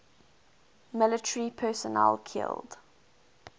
military personnel killed